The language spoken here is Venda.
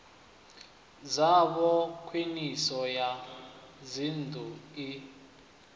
dzavho khwiniso ya dzinnḓu i